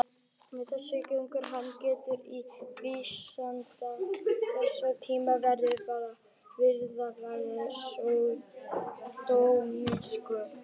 Með þessu gengur hann gegn trú vísinda þessara tíma hvað varðar fyrirbærið sódómísku.